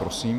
Prosím.